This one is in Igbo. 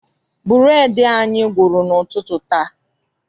Bureedi anyị gwụrụ n'ụtụtụ taa.